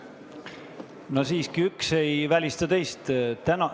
Üks ei välista teist.